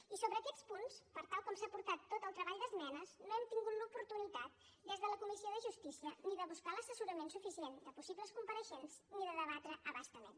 i sobre aquests punts per com s’ha portat tot el treball d’esmenes no hem tingut l’oportunitat des de la comissió de justícia ni de buscar l’assessorament suficient de possibles compareixents ni de debatre a bastament